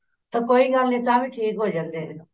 ਤਾਂ ਕੋਈ ਗੱਲ ਨੀ ਤਾਂਵੀ ਠੀਕ ਹੋ ਜਾਂਦੇ ਨੇ